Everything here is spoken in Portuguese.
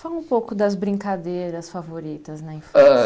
Fala um pouco das brincadeiras favoritas na